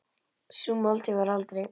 Sú máltíð varð aldrei.